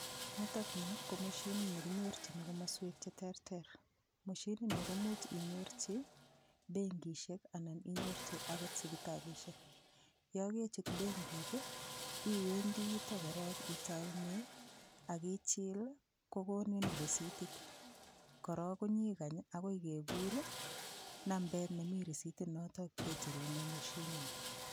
Nitokni ko moshinit nekinyorchini komoswek cheterter moshini ni komuuch inyorchi benkishek anan inyorchi akot sipitalishek yo kechut benkit iwendi yutok korok itoune akichil kokonin risitit korok konyikany akoi kekur nambet nemi risitinoto kecherune moshinini